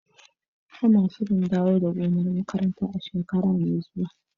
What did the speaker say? Ana shirin dawo da gonar makarantar a shekara mai zuwa.